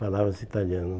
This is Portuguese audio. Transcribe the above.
Falava-se italiano.